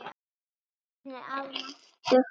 Listin er afar máttugt tæki.